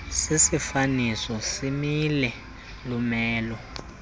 sisifaniso simile lumelo